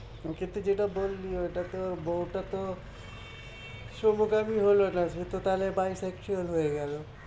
ওক্ষেত্রে যেতা বললি ঐটা তো বউটা তো সমগামী হলোনা সেতো তাহলে by sexual হয়ে গেলো